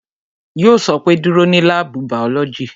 Yo sọ pé "Dúró ní láàbù bàọ́lọ́jì"